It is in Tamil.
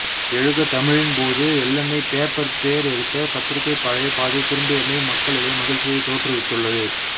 எழுக தமிழின் போது எள்ளெண்ணெய் பேப்பர் பேர் எடுத்த பத்திரிகை பழைய பாதை திரும்பியமை மக்களிடையே மகிழ்ச்சியை தோற்றுவித்துள்ளது